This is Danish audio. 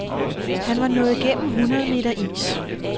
Han var nået gennem hundrede meter is.